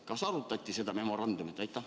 Kas arutati võimalikku memorandumit?